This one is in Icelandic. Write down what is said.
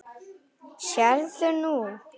Sérðu nú?